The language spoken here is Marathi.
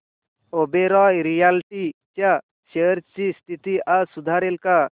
ओबेरॉय रियाल्टी च्या शेअर्स ची स्थिती आज सुधारेल का